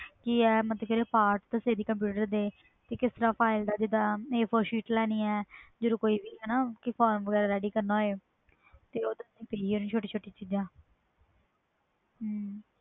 ਕਿ ਆ ਮਤਬਲ ਜਿਹੜੇ part ਆ ਕੰਪਿਊਟਰ ਦੇ ਕਿਸ ਤਰਾਂ part ਲੈਣੀ ਆ ਜੀਦਾ A four sheet ਜਦੋ ਕੋਈ ਵੀ formulaready ਕਰਨਾ ਤੇ ਹੋਵੇ ਛੋਟੀ ਛੋਟੀ ਚੀਜ਼ਾਂ